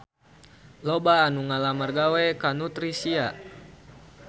Loba anu ngalamar gawe ka Nutricia